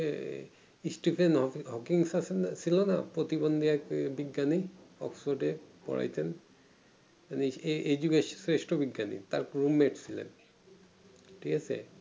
এ stepen hawkin ছিল না প্রতিদ্বন্দ্বী বিজ্ঞানী oxford পড়াইতেন উনি এই এই যুগের স্রেষ্ট বিজ্ঞানী তার roommate ছিলেন ঠিকাছে